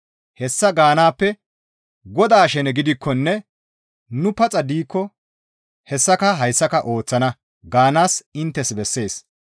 Hessa gaanaappe, «Godaa shene gidikkonne nu paxa diikko hessaka hayssaka ooththana» gaanaas inttes bessees.